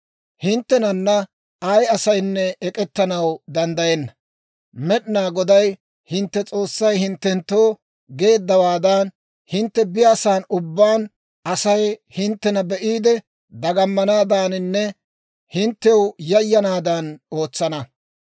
Hinttenana ay asaynne ek'ettanaw danddayenna; Med'inaa Goday hintte S'oossay hinttenttoo geeddawaadan, hintte biyaasan ubbaan Asay hinttena be'iide dagamanaaddaaninne hinttew yayyanaadan ootsana.